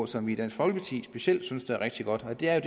som vi i dansk folkeparti specielt synes er rigtig godt og det er